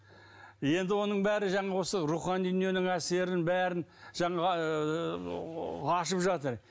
енді оның бәрі жаңағы осы рухани дүниенің әсерін бәрін жаңағы ашып жатыр